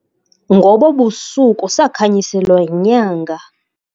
Ngobo busuku sakhanyiselwa yinyanga.